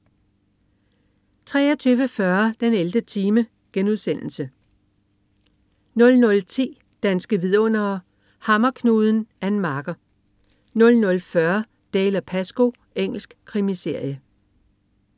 23.40 den 11. time* 00.10 Danske vidundere: Hammerknuden. Ann Marker 00.40 Dalziel & Pascoe. Engelsk krimiserie